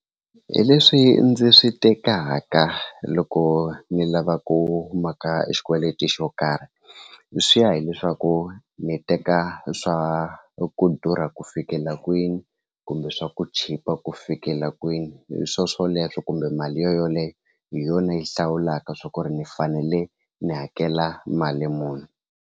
Hi leswi ndzi swi tekaka loko ni lava ku maka e xikweleti xo karhi swi ya hileswaku ni teka swa ku durha ku fikela kwini kumbe swa ku chipa ku fikela kwini hi swoswoleswo kumbe mali yoleyo hi yona yi hlawulaka swa ku ri ni fanele ni hakela mali muni.